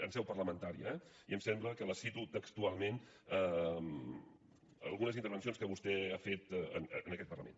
en seu parlamentària eh i em sembla que la cito textualment algunes intervencions que vostè ha fet en aquest parlament